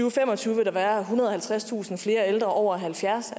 og fem og tyve vil der være ethundrede og halvtredstusind flere ældre over halvfjerds